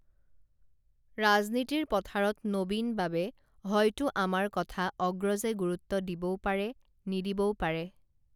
ৰাজনীতিৰ পথাৰত নবীন বাবে হয়তো আমাৰ কথা অগ্ৰজে গুৰুত্ব দিবও পাৰে নিদিবও পাৰে